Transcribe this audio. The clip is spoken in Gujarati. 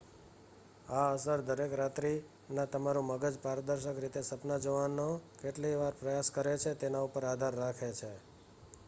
આ અસર દરેક રાત્રિના તમારું મગજ પારદર્શક રીતે સપના જોવાનો કેટલીવાર પ્રયાસ કરે છે તેના ઉપર આધાર રાખે છે